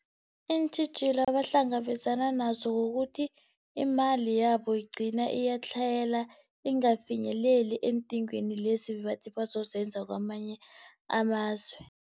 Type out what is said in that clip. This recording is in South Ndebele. Iintjhijilo abahlangabezana nazo kukuthi imali yabo igcina iyatlhayela ingafinyeleli eendingweni lezi ebabathi bazozenza kwamanye amazwe.